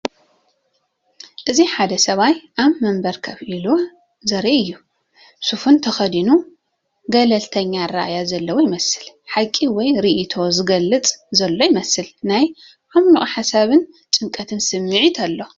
እዚ ሓደ ሰብኣይ ኣብ መንበር ኮፍ ኢሉ ዘርኢ እዩ። ስፉን ተኸዲኑ ገለልተኛ ኣራኣእያ ዘለዎ ይመስል። ሓቂ ወይ ርእይቶ ዝገልጽ ዘሎ ይመስል። ናይ ዓሚቕ ሓሳብን ጭንቀትን ስምዒት ኣሎ።